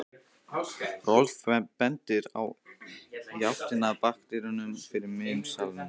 Rolf bendir í áttina að bakdyrunum fyrir miðjum salnum.